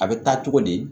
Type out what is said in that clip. A bɛ taa cogo di